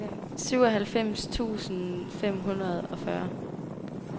syvoghalvfems tusind fem hundrede og fyrre